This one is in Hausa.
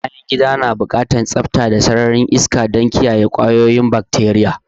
Bayangida na buƙatan tsafta da kuma sarari na shan iska saboda kiyaye kwayoyin bakateriya